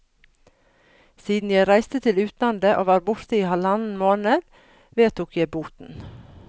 Siden jeg reiste til utlandet og var borte i halvannen måned, vedtok jeg boten.